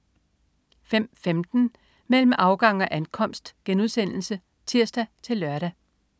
05.15 Mellem afgang og ankomst* (tirs-lør)